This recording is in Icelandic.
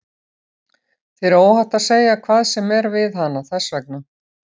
Þér er óhætt að segja hvað sem er við hana, þess vegna.